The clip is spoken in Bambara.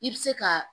I bɛ se ka